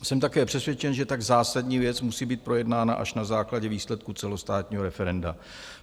Jsem také přesvědčen, že tak zásadní věc musí být projednána až na základě výsledků celostátního referenda.